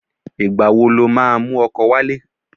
Ìgbà wo lo máa mú ọkọ wálé?